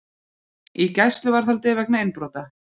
Í gæsluvarðhald vegna innbrota